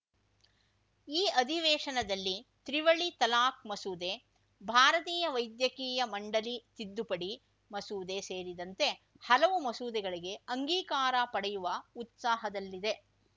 ಈ ಅಧಿವೇಶನದಲ್ಲಿ ತ್ರಿವಳಿ ತಲಾಕ್‌ ಮಸೂದೆ ಭಾರತೀಯ ವೈದ್ಯಕೀಯ ಮಂಡಳಿ ತಿದ್ದುಪಡಿ ಮಸೂದೆ ಸೇರಿದಂತೆ ಹಲವು ಮಸೂದೆಗಳಿಗೆ ಅಂಗೀಕಾರ ಪಡೆಯುವ ಉತ್ಸಾಹದಲ್ಲಿದೆ